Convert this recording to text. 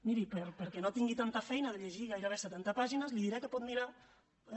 miri perquè no tingui tanta feina de llegir gairebé setanta pàgines li diré que pot mirar eh